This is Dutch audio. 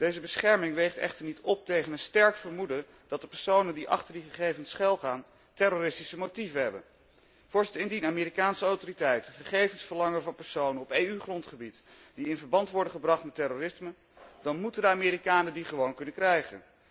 Deze bescherming weegt echter niet op tegen een sterk vermoeden dat de personen die achter die gegevens schuilgaan terroristische motieven hebben. Indien de Amerikaanse autoriteiten gegevens verlangen van personen op EU grondgebied die in verband worden gebracht met terrorisme, dan moeten de Amerikanen die gewoon kunnen krijgen.